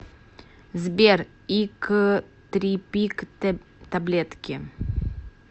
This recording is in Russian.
сбер иктрипик таблетки